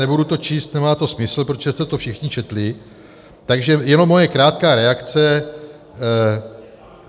Nebudu to číst, nemá to smysl, protože jste to všichni četli, takže jenom moje krátká reakce.